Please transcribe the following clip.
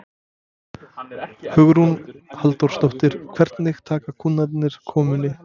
Hugrún Halldórsdóttir: Hvernig taka kúnnarnir komunni?